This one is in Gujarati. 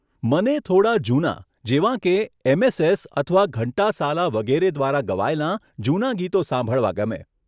મને થોડાં જૂના, જેવાં કે એમએસએસ અથવા ઘંટાસાલા વગેરે દ્વારા ગવાયેલા જૂનાં ગીતો સાંભળવાં ગમે.